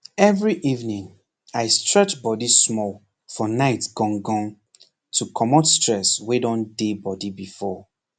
every evening i stretch body small for night gan gan to comot stress wey don dey body before